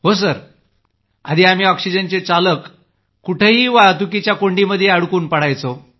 हो सर जी आधी आम्ही ऑक्सिजनचे चालक कुठंही वाहतुकीच्या कोंडीमध्ये अडकून पडायचो